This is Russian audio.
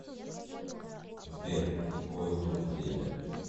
сбер какое тут время